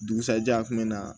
Dugusɛjɛ a kun bɛ na